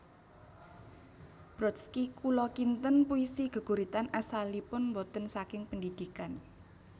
Brodsky Kula kinten puisi geguritan asalipun boten saking pendidikan